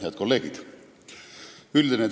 Head kolleegid!